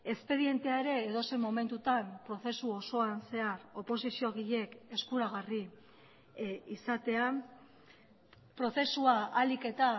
espedientea ere edozein momentutan prozesu osoan zehar oposiziogileek eskuragarri izatea prozesua ahalik eta